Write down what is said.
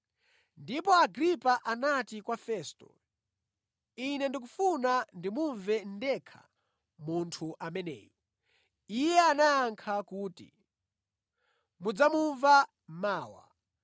Ndipo Agripa anati kwa Festo, “Ine ndikufuna ndimumve ndekha munthu ameneyu.” Iye anayankha kuti, “Mudzamumva mawa.”